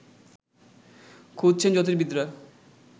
খুঁজছেন জ্যোতির্বিদরা